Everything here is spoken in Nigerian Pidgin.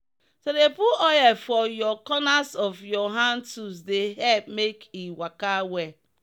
to dey put oil for your corners of your hand tools dey help make e waka well.